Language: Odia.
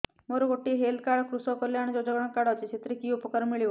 ମୋର ଗୋଟିଏ ହେଲ୍ଥ କାର୍ଡ କୃଷକ କଲ୍ୟାଣ ଯୋଜନା କାର୍ଡ ଅଛି ସାଥିରେ କି ଉପକାର ମିଳିବ